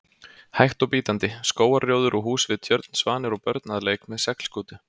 hægt og bítandi: skógarrjóður og hús við tjörn, svanir og börn að leik með seglskútu.